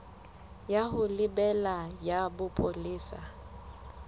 ya ho lebela ya bopolesa